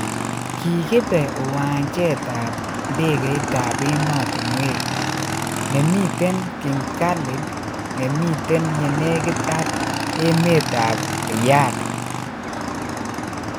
Kigipe uwanjet ap ndegeitap emotinwek nemiten King khalid Nemiten yenekit ag emet ap riyadh.